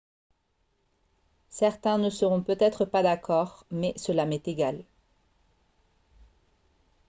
« certains ne seront peut-être pas d'accord mais cela m'est égal